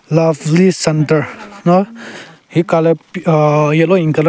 Lovely center nao heka le p aaaa yellow in colour.